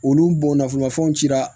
Olu bɔnnafolobafɛnw cira